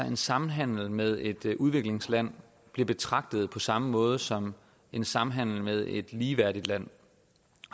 en samhandel med et udviklingsland bliver betragtet på samme måde som en samhandel med et ligeværdigt land